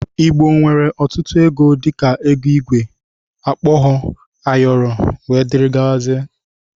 Igbo nwere ọtutu ego dika, ego igwe, okpogho, ayọrọ etc.